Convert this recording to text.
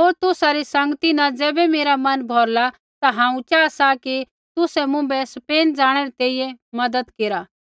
होर तुसा री संगती न ज़ैबै मेरा मन भौरला ता हांऊँ चाहा सा कि तुसै मुँभै स्पेन जाणै री तैंईंयैं मज़त केरा